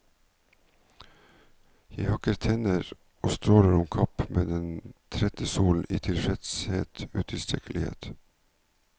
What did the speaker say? Jeg hakker tenner og stråler om kapp med den trette solen i selvtilfreds utilstrekkelighet.